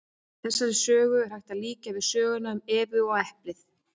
Þessari sögu er hægt að líkja við söguna um Evu og eplið.